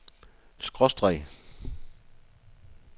skråstreg